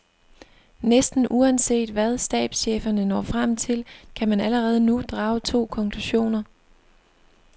Næsten uanset hvad stabscheferne når frem til, kan man allerede nu drage to konklusioner.